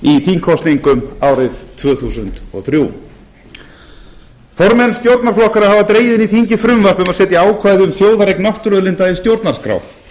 þingkosningum árið tvö þúsund og þrjú formenn stjórnarflokkanna hafa dregið í þingið frumvarp um að setja ákvæði um þjóðareign náttúruauðlinda í stjórnarskrá